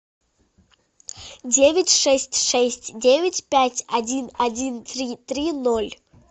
девять шесть шесть девять пять один один три три ноль